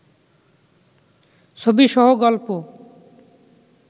ছবি সহ গল্প